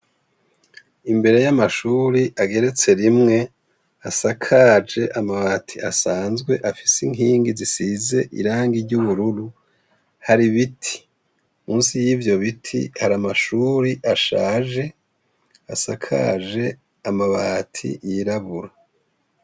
Imbere y' amashure ageretse rimwe asakajwe amabati asanzwe afise inkingi zisize irangi ry' ubururu hari ibiti musi y' ivyo biti hari amashure ashaje asakaje amabati yirabura.